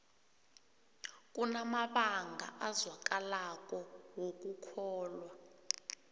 kunamabanga azwakalako wokukholwa